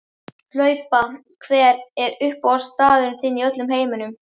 Hlaupa Hver er uppáhaldsstaðurinn þinn í öllum heiminum?